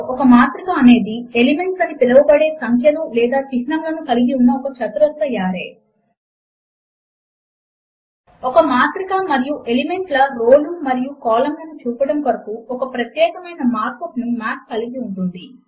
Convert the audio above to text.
ఒక మాత్రిక మరియు ఎలిమెంట్ ల రో లు మరియు కాలమ్ లను చూపడము కొరకు ఒక ప్రత్యేకమైన మార్క్ అప్ ను మాత్ కలిగి ఉంటుంది